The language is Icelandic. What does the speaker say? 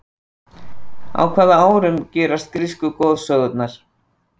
Á hvaða árum gerast grísku goðsögurnar?